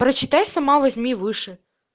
прочитай сама возьми выше